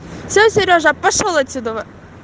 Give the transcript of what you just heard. всё серёжа пошёл отсюда